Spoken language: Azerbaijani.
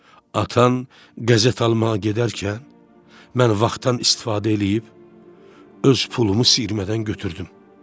Atan qəzet almağa gedərkən mən vaxtdan istifadə eləyib öz pulumu siyirmədən götürdüm.